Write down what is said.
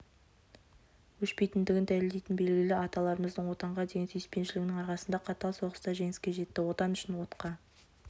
өшпейтіндігін дәлелдейтін белгі аталарымыз отанға деген сүйіспеншілігінің арқасында қатал соғыста жеңіске жетті отан үшін отқа